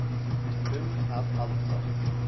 um að halda.